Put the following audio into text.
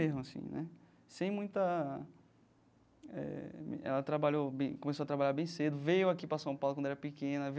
Mesmo assim né sem muita eh ela trabalhou começou a trabalhar bem cedo, veio aqui para São Paulo quando era pequena.